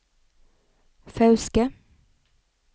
Fauske